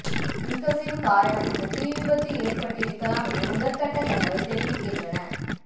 மின்கசிவு காரணமாக தீ விபத்து ஏற்பட்டிருக்கலாம் என முதற்கட்ட தகவல்கள் தெரிவிக்கின்றன